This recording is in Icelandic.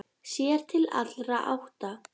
Sér til allra átta.